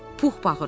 Pux bağırdı.